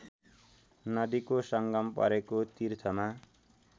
नदीको संगम परेको तीर्थमा